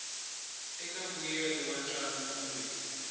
eka mbuyelo wa ntlangu kumbe